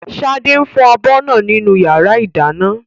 Ṣadé ń fọ abọ́ náà nínú yàrá ìdáná